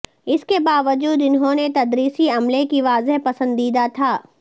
اس کے باوجود انہوں نے تدریسی عملے کی واضح پسندیدہ تھا